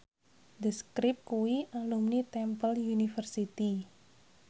The Script kuwi alumni Temple University